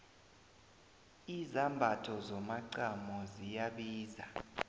izambatho zomacamo ziyabiza